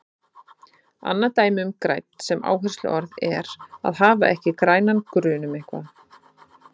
Annað dæmi um grænn sem áhersluorð er að hafa ekki grænan grun um eitthvað.